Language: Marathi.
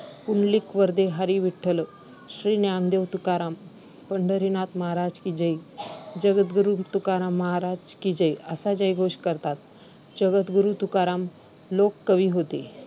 'पुंडलीक वरदे हरी विठ्ठल, श्री ज्ञानदेव तुकाराम, पंढरीनाथ महाराज की जय, जगद्गुरू तुकाराम महाराज की जय' असा जयघोष करतात. जगद्गुरू तुकाराम लोककवी होते.